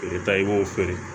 I bɛ taa i b'o feere